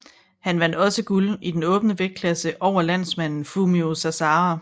Han vandt også guld i den åbne vægtklasse over landsmanden Fumio Sasahara